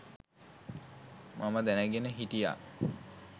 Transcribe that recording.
මම දැනගෙන හිටියා.